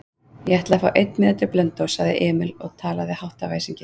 Ég ætla að fá einn miða til Blönduóss, sagði Emil og talaði hátt af æsingi.